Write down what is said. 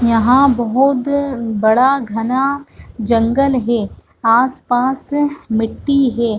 यहाँ बहतु बड़ा घना जंगल हे आसपास मिट्टी हे।